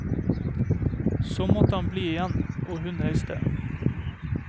Så måtte han bli igjen, og hun reiste.